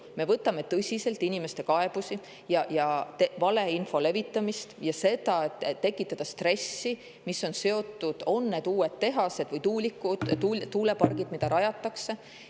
Me võtame tõsiselt inimeste kaebusi, valeinfo levitamist ja seda, et tekitatakse stressi, mis on seotud uute tehaste või tuuleparkidega, mida rajatakse.